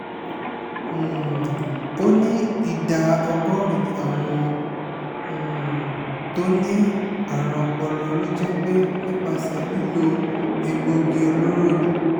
um ó ní ìdá ọgọ́rin àwọn um tó ní àrùn ọpọlọ ló jẹ́ pé nípasẹ̀ lílo egbòogi olóró ni